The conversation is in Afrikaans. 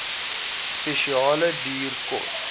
spesiale duur kos